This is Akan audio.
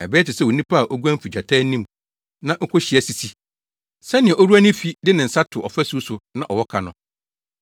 Ɛbɛyɛ te sɛ onipa a oguan fi gyata anim na okohyia sisi, sɛnea owura ne fi de ne nsa to ɔfasu so, na ɔwɔ ka no.